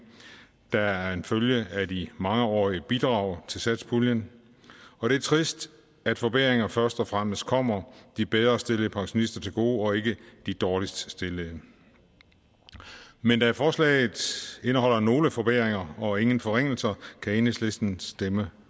der er en følge af de mangeårige bidrag til satspuljen og det er trist at forbedringer først og fremmest kommer de bedre stillede pensionister til gode og ikke de dårligst stillede men da forslaget indeholder nogle forbedringer og ingen forringelser kan enhedslisten stemme